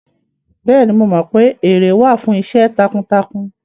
Bẹ́ẹ̀ni, mo mọ pé ère wà fún iṣẹ́ takuntakun